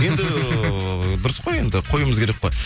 енді дұрыс қой енді қоюымыз керек қой